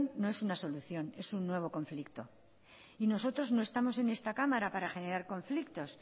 no es una solución es un nuevo conflicto y nosotros no estamos en esta cámara para generar conflictos